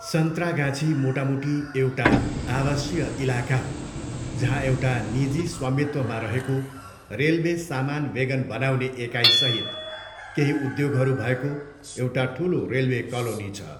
सन्त्रागाछी मोटामोटी एउटा आवासीय इलाका हो जहाँ एउटा निजी स्वामित्वमा रहेको रेलवे सामान वेगन बनाउने एकाइसहित केही उद्योगहरू भएको एउटो ठुलो रेलवे कालोनी छ।